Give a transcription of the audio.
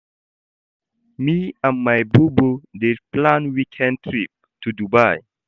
Me and my bobo dey plan weekend trip to Dubai.